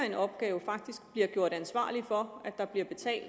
en opgave faktisk bliver gjort ansvarlig for at der bliver betalt